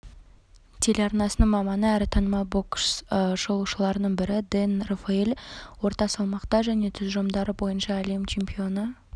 телеарнасының маманы әрі танымал бокс шолушыларының бірі дэн рафаэль орта салмақта және тұжырымдары бойынша әлем чемпионы